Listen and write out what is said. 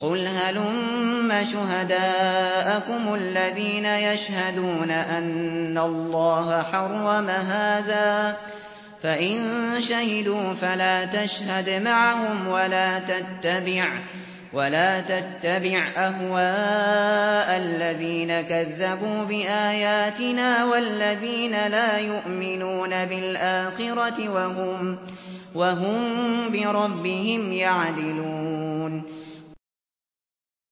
قُلْ هَلُمَّ شُهَدَاءَكُمُ الَّذِينَ يَشْهَدُونَ أَنَّ اللَّهَ حَرَّمَ هَٰذَا ۖ فَإِن شَهِدُوا فَلَا تَشْهَدْ مَعَهُمْ ۚ وَلَا تَتَّبِعْ أَهْوَاءَ الَّذِينَ كَذَّبُوا بِآيَاتِنَا وَالَّذِينَ لَا يُؤْمِنُونَ بِالْآخِرَةِ وَهُم بِرَبِّهِمْ يَعْدِلُونَ